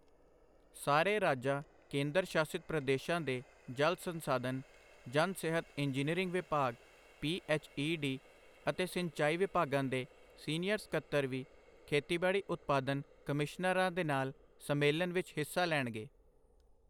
ਸਾਰੇ ਰਾਜਾਂ ਕੇਂਦਰ ਸ਼ਾਸਿਤ ਪ੍ਰਦੇਸ਼ਾਂ ਦੇ ਜਲ ਸੰਸਾਧਨ, ਜਨ ਸਿਹਤ ਇੰਜੀਨੀਅਰਿੰਗ ਵਿਭਾਗ ਪੀਐੱਚਈਡੀ ਅਤੇ ਸਿੰਚਾਈ ਵਿਭਾਗਾਂ ਦੇ ਸੀਨੀਅਰ ਸਕੱਤਰ ਵੀ ਖੇਤੀਬਾੜੀ ਉਤਪਾਦਨ ਕਮਿਸ਼ਨਰਾਂ ਦੇ ਨਾਲ ਸੰਮੇਲਨ ਵਿੱਚ ਹਿੱਸਾ ਲੈਣਗੇ।